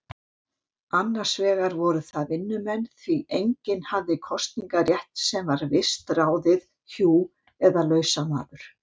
Annars vegar voru það vinnumenn, því enginn hafði kosningarétt sem var vistráðið hjú eða lausamaður.